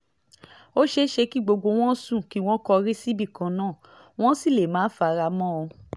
ó ṣeé ṣe kí gbogbo wọn sùn kí wọ́n kọrí síbìkan náà wọ́n sì lè má fara mọ́ ọn